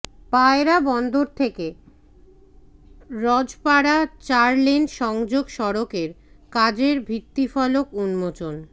পায়রা বন্দর থেকে রজপাড়া চার লেন সংযোগ সড়কের কাজের ভিত্তিফলক উন্মোচন